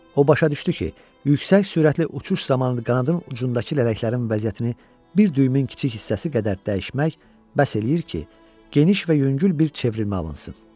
O başa düşdü ki, yüksək sürətli uçuş zamanı qanadın ucundakı lələklərin vəziyyətini bir düyümün kiçik hissəsi qədər dəyişmək bəs eləyir ki, geniş və yüngül bir çevrilmə alınsın.